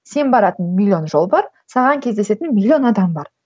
сен баратын миллион жол бар саған кездесетін миллион адам бар